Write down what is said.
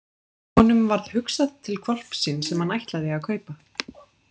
Honum varð hugsað til hvolpsins sem hann ætlaði að kaupa.